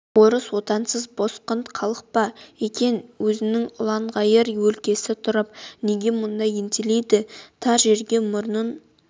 орыс отансыз босқын халық па екен өзінің ұланғайыр өлкесі тұрып неге мұнда ентелейді тар жерге мұрнын